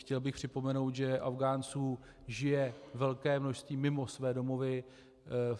Chtěl bych připomenout, že Afghánců žije velké množství mimo své domovy.